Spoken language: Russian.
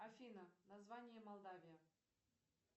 афина название молдавия